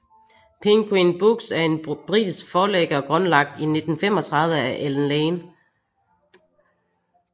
Penguin Books er en britisk forlægger grundlagt i 1935 af Allen Lane